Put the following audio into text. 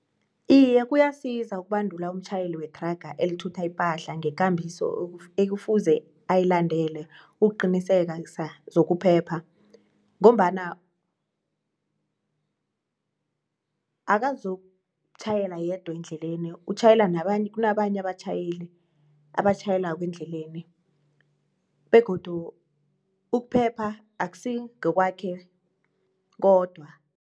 Iye, kuyasiza ukubandula umtjhayeli wethraga elithutha ipahla ngekambiso ekufuze ayilandele ukuqinisekisa zokuphepha ngombana akazokutjhayela yedwa endleleni utjhayela nabanye kunabanye abatjhayeli abatjhayelako endleleni begodu ukuphepha akusingokwakhe kodwa.